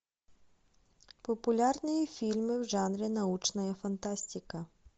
популярные фильмы в жанре научная фантастика